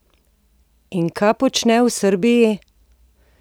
In kaj počne v Srbiji?